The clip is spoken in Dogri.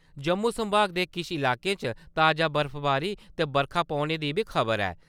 जम्मू संभाग दे किश लाकें च ताजा बर्फवारी ते बरखा पौने दी बी खबर ऐ।